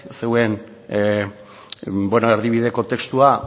zuen erdibideko testua